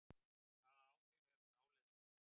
Hvaða áhrif hefur dáleiðsla?